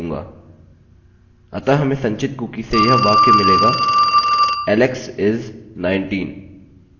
अतः हमें संचित कुकी से यह वाक्य मिलेगाalex is 19